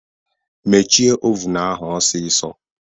Mechie ovun ahụ osiso!